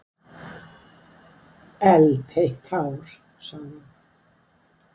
Eldheitt hár, sagði hann.